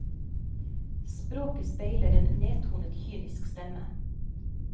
Språket speiler en nedtonet kynisk stemme.